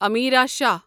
Amira Shah